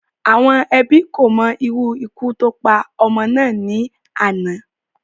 Àwọn Ẹbí kò mo irú ikú tó pa ọmọ náà ní àná